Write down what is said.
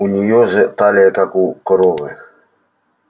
у нее же талия как у коровы